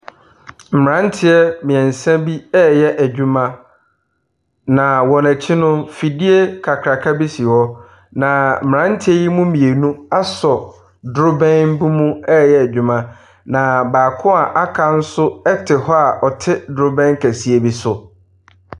Mmeranteɛ mmeɛnsa bi reyɛ adwuma, na wɔn akyi no, afidie kakraka bi si hɔ, na mmeranteɛ yi mu mmienu asɛ drobɛn bi mu reyɛ adwuma, na baako a waka nso t hɔ a ɔte drobɛn kɛseɛ bi so.